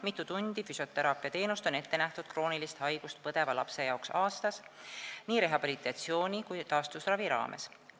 Mitu tundi füsioteraapia teenust on ette nähtud kroonilist haigust põdeva lapse jaoks aastas, nii rehabilitatsiooni- kui taastusravi raames?